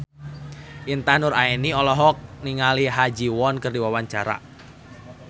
Intan Nuraini olohok ningali Ha Ji Won keur diwawancara